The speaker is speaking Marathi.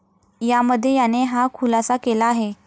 यामध्ये याने हा खुलासा केला आहे.